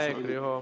Aeg, Riho!